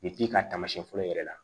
ka taamasiyɛn fɔlɔ yɛrɛ la